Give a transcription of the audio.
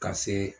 Ka se